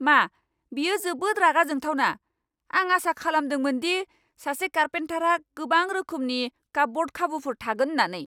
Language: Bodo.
मा? बेयो जोबोद रागा जोंथावना! आं आसा खालामदोंमोन दि सासे कारपेन्टारहा गोबां रोखोमनि कापब'र्ड खाबुफोर थागोन होन्नानै।